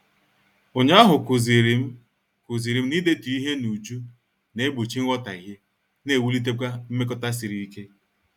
Ụnyaahụ kụzirim kụzirim na-idetu ihe n'uju na- egbochi nghotaghie na ewulitekwa mmekota sịrị ike.